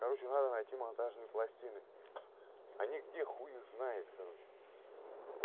короче надо найти монтажные пластины они где хуй их знает короче